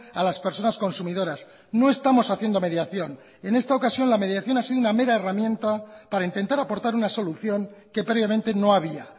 a las personas consumidoras no estamos haciendo mediación en esta ocasión la mediación hasido una mera herramienta para intentar aportar una solución que previamente no había